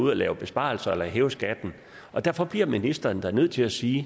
at lave besparelser eller hæve skatten derfor bliver ministeren da nødt til at sige